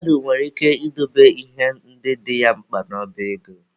Mmadụ nwere ike ị dobe ihe ndị dị ya mkpa n'ọba ego